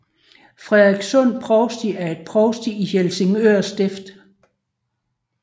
Frederikssund Provsti er et provsti i Helsingør Stift